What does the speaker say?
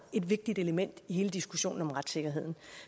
et vigtigt element i hele diskussionen om retssikkerhed